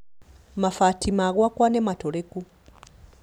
Mabati ma gwaka nĩmatũrĩku